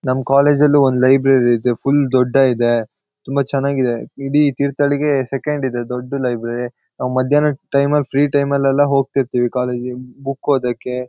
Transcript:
ನಮ್ ಕಾಲೇಜಲ್ಲೂ ಒಂದ್ ಲೈಬ್ರರಿ ಇದೆ ಫುಲ್ ದೊಡ್ಡ ಇದೆ ತುಂಬಾ ಚೆನ್ನಾಗಿದೆ ಈಡಿ ತೀರ್ಥಳ್ಳಿಗೆ ಸೆಕೆಂಡ್ ಇದೆ ದೊಡ್ದು ಲೈಬ್ರರಿ ನಾವ್ ಮಧ್ಯಾಹ್ನ ಟೈಮಲ್ ಫ್ರೀ ಟೈಮಲ್ಎಲ್ಲ ಹೋಗ್ತಾ ಇರ್ತೀವಿಕಾಲೇಜಿಗ್-- ಬುಕ್ ಓದಕ್ಕೆ--